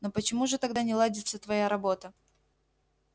но почему же тогда не ладится твоя работа